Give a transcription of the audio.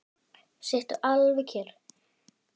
Sittu alveg kyrr.